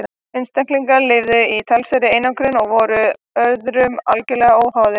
einstaklingarnir lifðu í talsverðri einangrun og voru öðrum algerlega óháðir